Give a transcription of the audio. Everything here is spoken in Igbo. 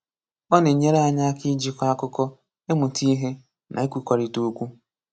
O na-enyere anyi aka iji kọọ akuko, ịmụta ihe, na ikwukọrịta okwu.